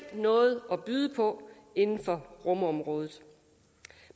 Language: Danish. noget at byde på inden for rumområdet